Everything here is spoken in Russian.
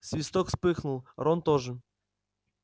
свиток вспыхнул рон тоже